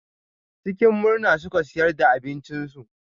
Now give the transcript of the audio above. Cikin murna suka siyar da abincinsu.